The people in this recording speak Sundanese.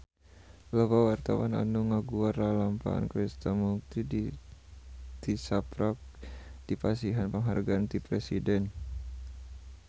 Loba wartawan anu ngaguar lalampahan Krishna Mukti tisaprak dipasihan panghargaan ti Presiden